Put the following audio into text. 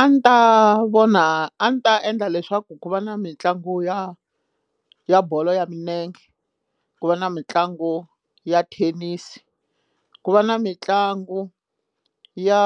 A ni ta vona a ni ta endla leswaku ku va na mitlangu ya ya bolo ya milenge ku va na mitlangu ya thenisi ku va na mitlangu ya